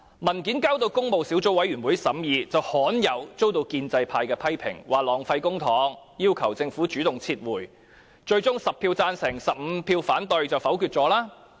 文件提交工務小組委員會審議，罕有地遭到建制派批評，指浪費公帑，要求政府主動撤回文件，最終在10票贊成和15票反對下，項目被否決。